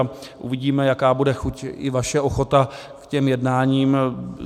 A uvidíme, jaká bude chuť i vaše ochota k těm jednáním.